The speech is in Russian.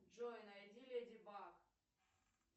джой найди леди баг